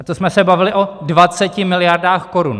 - A to jsme se bavili o 20 miliardách korun.